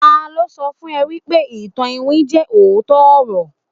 talo so fun e wipe ìtàn iwin je ootọ ọrọ